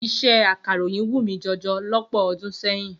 Iṣẹ́ akàròyìn wù mí jọjọ lọ́pọ̀ ọdún sẹ́yìn.